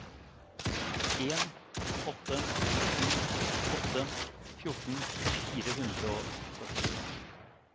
en åtte sju åtte fjorten fire hundre og førtiseks